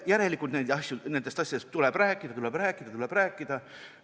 Järelikult nendest asjadest tuleb rääkida, tuleb rääkida, tuleb rääkida.